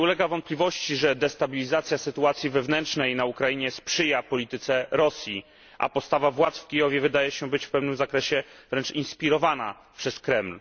Nie ulega wątpliwości, że destabilizacja sytuacji wewnętrznej na Ukrainie sprzyja polityce Rosji, a postawa władz w Kijowie wydaje się być w pewnym zakresie wręcz inspirowana przez Kreml.